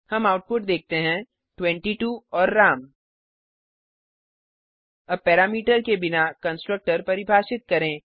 हम आउटपुट देखते हैं 22 और राम अब पैरामीटर के बिना कंस्ट्रक्टर परिभाषित करें